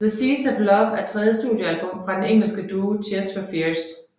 The Seeds of Love er tredje studioalbum fra den engelske duo Tears For Fears